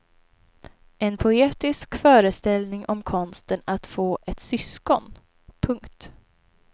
En poetisk föreställning om konsten att få ett syskon. punkt